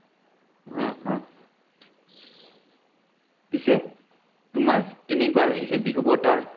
অ অ পিছে তোমাৰ কেনেকুৱা লাগিছে বিহুৰ বতৰ?